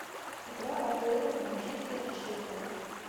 игра апл манчестер и шеффилд